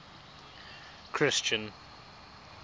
christian